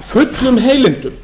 fullum heilindum